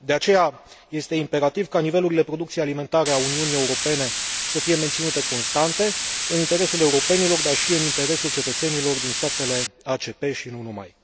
De aceea este imperativ ca nivelurile producției alimentare a Uniunii Europene să fie menținute constante în interesul europenilor, dar și în interesul cetățenilor din statele ACP și nu numai.